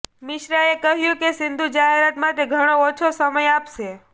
મિશ્રાએ કહ્યું કે સિંધુ જાહેરાત માટે ઘણો ઓછો સમય આપશે